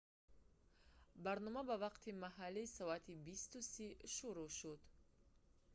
барнома ба вақти маҳаллӣ соати 20:30 15:00 utc шурӯъ шуд